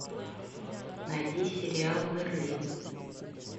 найди сериал мерлин